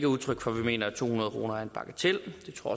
udtryk for at vi mener at to hundrede kroner er en bagatel det tror